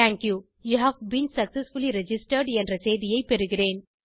you have been successfully registered என்ற செய்தியை பெறுகிறேன்